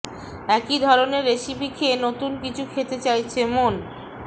একই ধরনের রেসিপি খেয়ে নতুন কিছু খেতে চাইছে মন